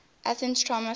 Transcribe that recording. athens tram sa